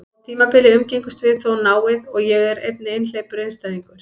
Á tímabili umgengumst við þó náið, og er ég einnig einhleypur einstæðingur.